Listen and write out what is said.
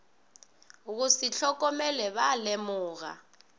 go se hlokomele ba lemoga